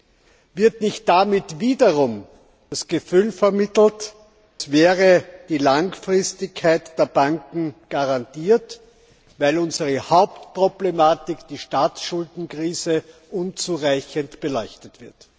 Drittens Wird damit nicht wiederum das Gefühl vermittelt, als wäre die Langfristigkeit der Banken garantiert, weil unsere Hauptproblematik die Staatsschuldenkrise unzureichend beleuchtet wird?